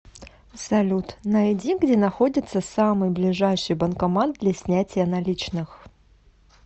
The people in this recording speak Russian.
салют найди где находится самый ближайший банкомат для снятия наличных